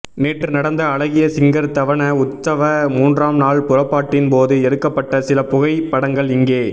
நேற்று நடந்த அழகிய சிங்கர் தவன உத்சவ மூன்றாம் நாள் புறப்பாட்டின் போது எடுக்கப்பட்ட சில புகை படங்கள் இங்கே